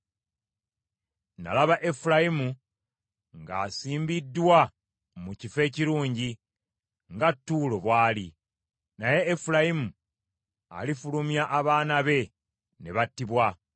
Nalaba Efulayimu ng’asimbiddwa mu kifo ekirungi, nga Ttuulo bw’ali. Naye Efulayimu alifulumya abaana be ne battibwa.